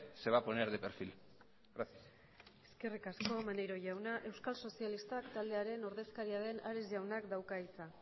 se va a poner de perfil gracias eskerrik asko maneiro jauna euskal sozialistak taldearen ordezkaria den ares jaunak dauka hitza